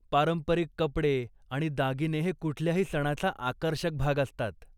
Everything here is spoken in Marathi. पारंपरिक कपडे आणि दागिने हे कुठल्याही सणाचा आकर्षक भाग असतात.